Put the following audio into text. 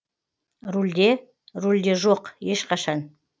рульде жоқ ешқашан